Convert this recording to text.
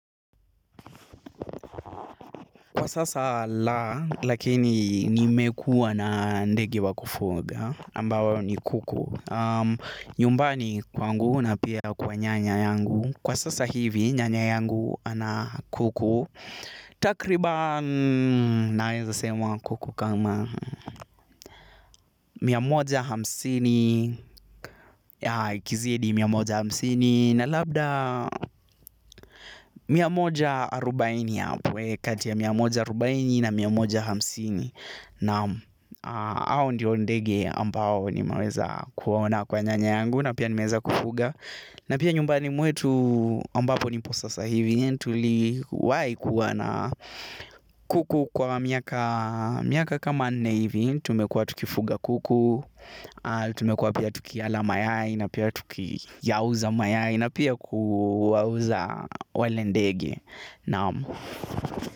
Kwa sasa la, lakini nimekuwa na ndege wa kufuga, ambao ni kuku. Nyumbani kwangu na pia kwa nyanya yangu. Kwa sasa hivi, nyanya yangu ana kuku. Takriban naweza sema kuku kama mia moja hamsini, ya ikizidi mia moja hamsini, na labda, mia moja arobaini hapo kati ya mia moja arobaini na mia moja hamsini. Naam, hao ndio ndege ambao nimeweza kuwaona kwa nyanya yangu na pia nimeweza kufuga. Na pia nyumbani mwetu ambapo nipo sasahivi, tuliwahi kuwa na, kuku kwa miaka kama nne hivi, tumekua tukifuga kuku, tumekua pia tukiyala mayai na pia tukiyauza mayai na pia kuwauza wale ndege.